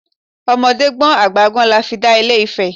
Ọmọdé gbọ́n àgbà gbọ́n la fi dá ilé Ifẹ̀!